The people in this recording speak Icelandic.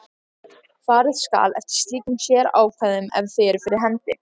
Farið skal eftir slíkum sérákvæðum ef þau eru fyrir hendi.